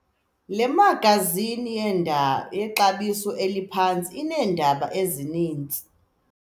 Le magazini yexabiso eliphantsi ineendaba ezininzi.